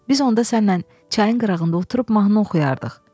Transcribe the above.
Biz onda səninlə çayın qırağında oturub mahnı oxuyardıq.